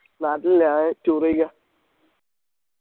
നാട്ടിലില്ല ഞാൻ tour എയ്യാ